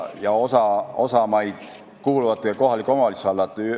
Osa maid kuulubki kohaliku omavalitsuse alla.